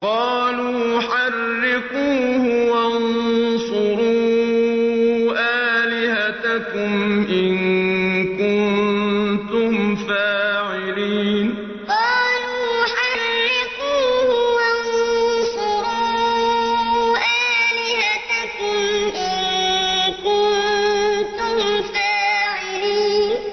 قَالُوا حَرِّقُوهُ وَانصُرُوا آلِهَتَكُمْ إِن كُنتُمْ فَاعِلِينَ قَالُوا حَرِّقُوهُ وَانصُرُوا آلِهَتَكُمْ إِن كُنتُمْ فَاعِلِينَ